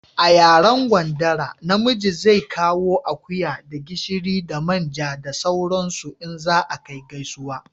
A yaren gwandara na miji zai kawo akuya da gishiri da manja da sauran su in za a kai gaisuwa